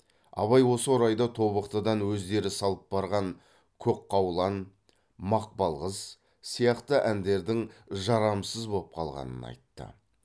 абай осы орайда тобықтыдан өздері салып барған көкқаулан мақпалқыз сияқты әндердің жарамсыз боп қалғанын айтты